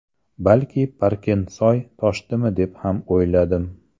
Balki Parkentsoy toshdimi, deb ham o‘yladim.